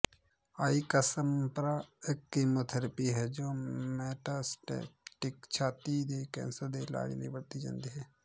Ixempra ਇਕ chemotherapy ਹੈ ਜੋ ਮੇਟਾਸਟੈਟਿਕ ਛਾਤੀ ਦੇ ਕੈਂਸਰ ਦੇ ਇਲਾਜ ਲਈ ਵਰਤੀ ਜਾਂਦੀ ਹੈ